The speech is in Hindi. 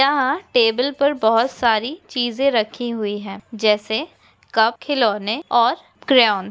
यहाँ पर टेबल पर बहुत सारी चिजे रखी हुई है जैसे कप खिलौने और क्रेओन ।